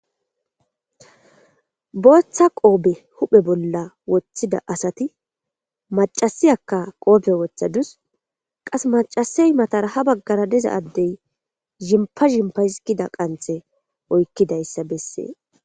booththa qoobe huphe bolla woththida asati macasiyakka qoobe wothadus qas macasey matara ha baggara diza addey zhimpa zhimpa hizigida qanthe oykkidayssa bessees